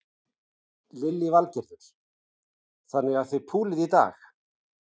Lillý Valgerður: Þannig að þið púlið í dag?